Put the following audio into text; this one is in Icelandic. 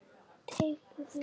Teygðu þig.